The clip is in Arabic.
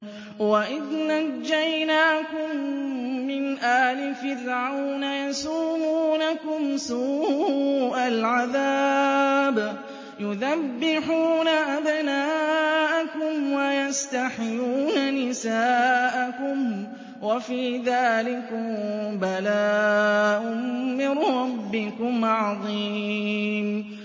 وَإِذْ نَجَّيْنَاكُم مِّنْ آلِ فِرْعَوْنَ يَسُومُونَكُمْ سُوءَ الْعَذَابِ يُذَبِّحُونَ أَبْنَاءَكُمْ وَيَسْتَحْيُونَ نِسَاءَكُمْ ۚ وَفِي ذَٰلِكُم بَلَاءٌ مِّن رَّبِّكُمْ عَظِيمٌ